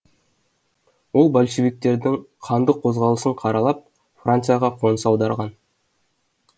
ол большевиктердің қанды қозғалысын қаралап францияға қоныс аударған